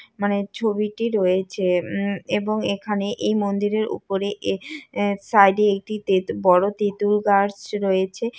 মানে ছবিটি রয়েছে উম এবং এখানে এই মন্দিরের উপরে এর আ সাইড এ একটি তেঁ বড় তেতুল গাছ রয়েছে।